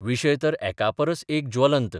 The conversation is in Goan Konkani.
विशय तर एकापरस एक ज्वलंत.